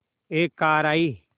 एक कार आई